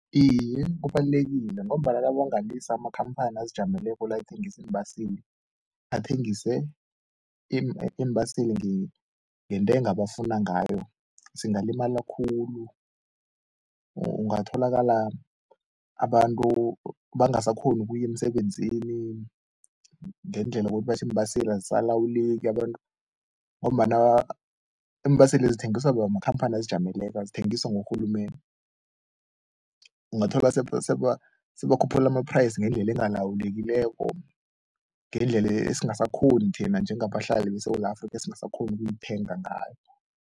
Iye, kubalulekile ngombana nabangalisa amakhamphani azijameleko la athengisa iimbaseli athengise iimbaseli ngentengo abafuna ngayo singalimala khulu, ungatholakala abantu bangasakghoni ukuya emsebenzini ngendlela yokuthi batjho iimbaseli azisalawuleki abantu ngombana iimbaseli zithengiswa makhamphani azijameleko, azithengiswa ngurhulumende. Ungathola sebakhuphula ama-price ngendlela engalawulekileko ngendlela esingasakghoni thina njengabahlali beSewula Afrika esingasakghoni ukuyithenga ngayo.